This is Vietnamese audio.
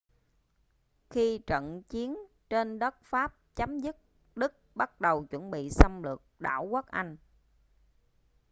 khi trận chiến trên đất pháp chấm dứt đức bắt đầu chuẩn bị xâm lược đảo quốc anh